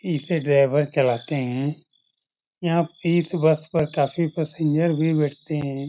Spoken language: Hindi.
इसे ड्राइवर चलाते है इस बस में काफी पैसेंजर भी बैठते है ।